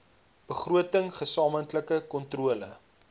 begroting gesamentlike kontrole